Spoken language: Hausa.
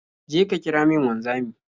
Je ka kira min wanzami.